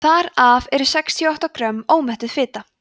þar af eru sextíu og átta grömm ómettuð fita